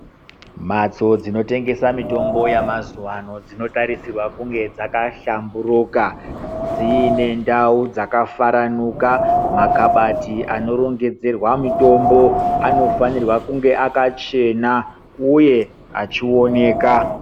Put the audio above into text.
Mbatso dzinotengesa mitombo dzemazuva ano dzinotarisirwa kunge dzakahlamburuka dzine ndau dzakafaranuka makabati anoringedzerwa mitombo anofanira kunge akachena uye achioneka.